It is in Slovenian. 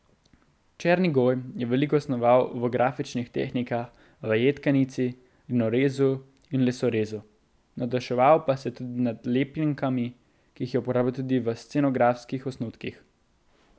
Černigoj je veliko snoval v grafičnih tehnikah, v jedkanici, linorezu in lesorezu, navduševal pa se je tudi nad lepljenkami, ki jih je uporabljal tudi v scenografskih osnutkih.